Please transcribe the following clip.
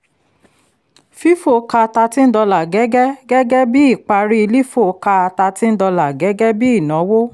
fifo ka thirteen dollars gẹ́gẹ́ gẹ́gẹ́ bí ìparí lifo ka thirteen dollars gẹ́gẹ́ bí ìnáwó